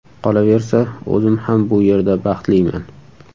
Qolaversa, o‘zim ham bu yerda baxtliman.